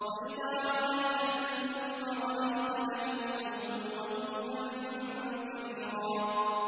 وَإِذَا رَأَيْتَ ثَمَّ رَأَيْتَ نَعِيمًا وَمُلْكًا كَبِيرًا